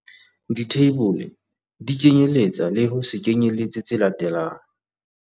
Ditheibole di kenyelletsa le ho se kenyelletse tse latelang.